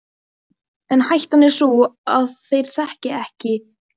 En hættan er sú að þeir þekki Heru með mér.